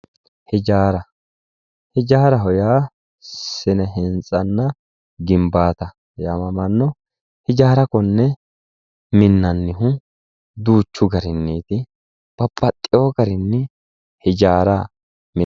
Hijaara, hijaaraho yaa sine-hintsanna gimbata yaamamano hijaara konne minnannihu duuchu garinniti babbaxewo garinni hijaara minanni.